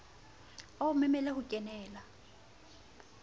a o memele ho kenela